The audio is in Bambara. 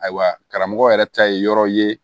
Ayiwa karamɔgɔ yɛrɛ ta ye yɔrɔ ye